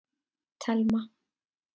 Telma